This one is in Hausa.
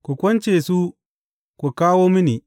Ku kunce su ku kawo mini.